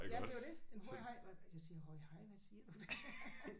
Ja det er jo det. Den har jeg haft hvad vil det sige høje hej hvad siger du